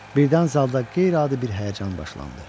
Birdən zalda qeyri-adi bir həyəcan başlandı.